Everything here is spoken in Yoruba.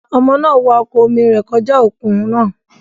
Ọmọ náà wa ọkọ̀ omi rẹ̀ kọjá òkun náà.